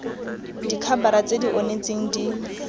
dikhabara tse di onetseng di